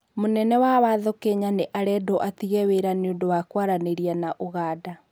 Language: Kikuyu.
Mũnene wa watho wa Kenya nĩarendwo atige wĩra nĩũndũ wa kwaranĩria na uganda